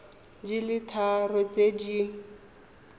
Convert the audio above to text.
di le tharo tse di